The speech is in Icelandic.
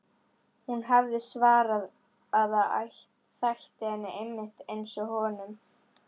Hún hafði svarað að það þætti henni einmitt einsog honum.